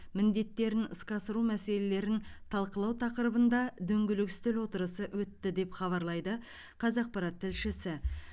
міндеттерін іске асыру мәселелерін талқылау тақырыбында дөңгелек үстел отырысы өтті деп хабарлайды қазақпарат тілшісі